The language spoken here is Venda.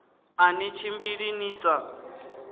a ni tshimbili ni sa